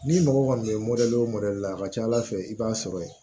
N'i mɔgɔ kɔni ye o la a ka ca ala fɛ i b'a sɔrɔ ye